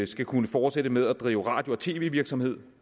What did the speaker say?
skal kunne fortsætte med at drive radio og tv virksomhed